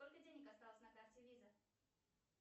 сколько денег осталось на карте виза